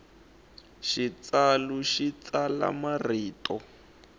xitsalu xi tsala marito